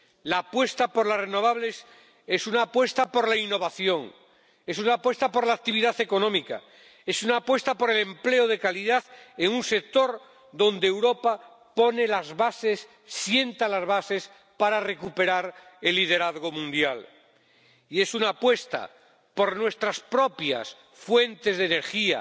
La apuesta por las renovables es una apuesta por la innovación, es una apuesta por la actividad económica, es una apuesta por el empleo de calidad en un sector donde Europa sienta las bases para recuperar el liderazgo mundial, y es una apuesta por nuestras propias fuentes de energía